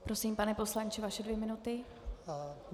Prosím, pane poslanče, vaše dvě minuty.